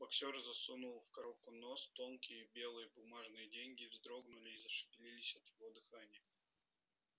боксёр засунул в коробку нос тонкие белые бумажные деньги вздрогнули и зашевелились от его дыхания